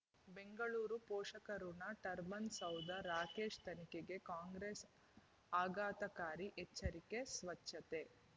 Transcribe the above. ಬೆಂಗಳೂರು ಪೋಷಕಋಣ ಟರ್ಬೈನು ಸೌಧ ರಾಕೇಶ್ ತನಿಖೆಗೆ ಕಾಂಗ್ರೆಸ್ ಆಘಾತಕಾರಿ ಎಚ್ಚರಿಕೆ ಸ್ವಚ್ಛತೆ